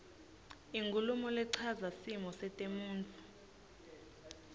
inkhulumo lechaza simo setemntfo